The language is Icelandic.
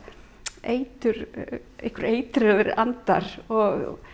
eitraðir einhverjir eitraðir andar og